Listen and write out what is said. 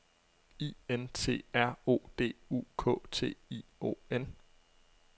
I N T R O D U K T I O N